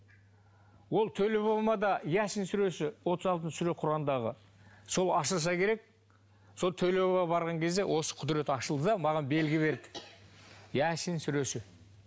ол төле бабама да ясин сүресі отыз алтыншы сүре құрандағы сол ашылса керек сол төле бабама барған кезде осы құдірет ашылды да маған белгі берді ясин сүресі